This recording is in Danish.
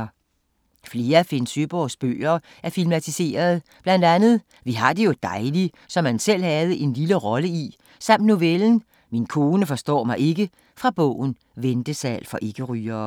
Flere af Søeborgs bøger er filmatiseret. Blandt andet "Vi har det jo dejligt", som han selv havde en lille rolle i, samt novellen "Min kone forstår mig ikke" fra bogen "Ventesal for ikke-rygere".